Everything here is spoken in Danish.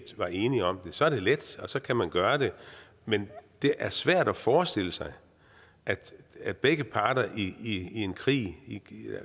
var enige om det så er det let og så kan man gøre det men det er svært at forestille sig at begge parter i en krig